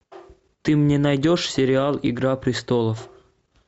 ты мне найдешь сериал игра престолов